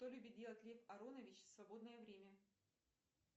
что любит делать лев аронович в свободное время